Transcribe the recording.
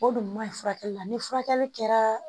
O dun man ɲi furakɛli la ni furakɛli kɛra